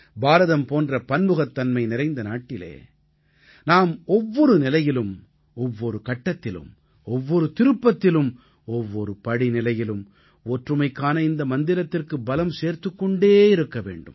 பாரதம் போன்ற பன்முகத்தன்மை நிறைந்த நாட்டிலே நாம் ஒவ்வொரு நிலையிலும் ஒவ்வொரு கட்டத்திலும் ஒவ்வொரு திருப்பத்திலும் ஒவ்வொரு படிநிலையிலும் ஒற்றுமைக்கான இந்த மந்திரத்திற்கு பலம் சேர்த்துக் கொண்டே இருக்க வேண்டும்